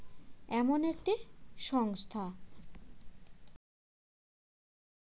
এমন একটি সংস্থা